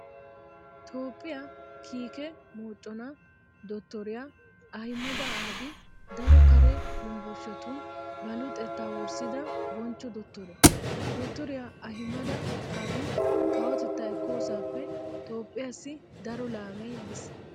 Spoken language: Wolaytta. Toophphiyaa kiike moconaa dottoriyaa Ahimada Abi daro kare yunvurshetuun ba luxettaa wurssida bonchcho dottore. Dottoriyaa Ahimada Abi kawotettaa ekkoosappe Toophphiyaasai daro laamee yiis.